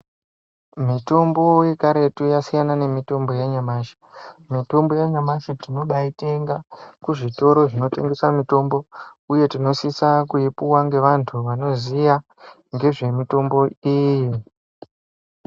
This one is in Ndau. Mitombo yekaretu yasiyana nemitombo yanyamashi. Mitombo yanyamashi tinobaitenga kuzvitoro zvinotengesa mitombo uye tinosisa kuipuwa ngevantu vanoziya ngezvemitombo iyi.